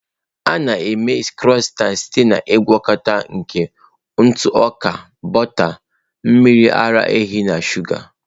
A na-eme Crọisantị site na ngwakọta nke ntụ ọka, bọta, mmiri ara ehi na shụga.